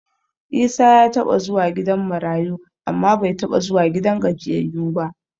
Isa ya taɓa zuwa gidan marayu amma bai taɓa zuwa gidan gajiyayyu ba.